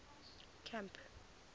camp